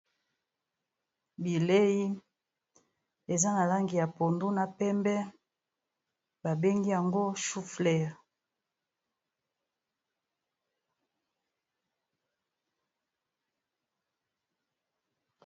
Bileyi eza na langi ya pondu na pembe babengi yango choux fleur